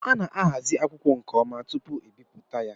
A ná-ahazi akwụkwọ nke ọma tupu ebipụta ya